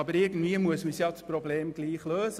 Aber irgendwie muss man dieses Problem trotzdem lösen.